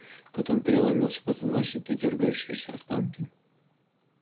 потом переломился позвоночник и дёргающиеся останки